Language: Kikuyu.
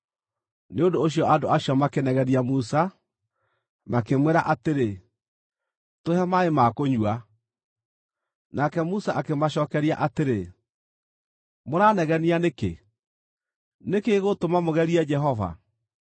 Nĩ ũndũ ũcio andũ acio makĩnegenia Musa, makĩmwĩra atĩrĩ, “Tũhe maaĩ ma kũnyua.” Nake Musa akĩmacookeria atĩrĩ, “Mũranegenia nĩkĩ? Nĩ kĩĩ gĩgũtũma mũgerie Jehova?”